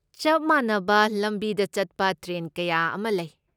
ꯆꯞ ꯃꯥꯟꯅꯕ ꯂꯝꯕꯤꯗ ꯆꯠꯄ ꯇ꯭ꯔꯦꯟ ꯀꯌꯥ ꯑꯃ ꯂꯩ꯫